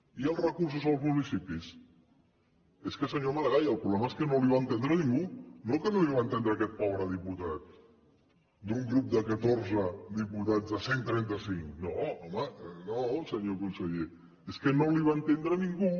i els recursos als municipis és que senyor maragall el problema és que no el va entendre ningú no que no el va entendre aquest pobre diputat d’un grup de catorze diputats de cent trentacinc no home no senyor conseller és que no el va entendre ningú